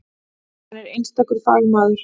Hann er einstakur fagmaður.